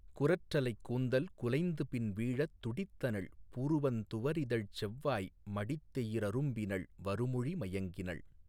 குரற்றலைக் கூந்தல் குலைந்துபின் வீழத் துடித்தனள் புருவந்துவரிதழ்ச் செவ்வாய் மடித்தெயி றரும்பினள் வருமொழி மயங்கினள்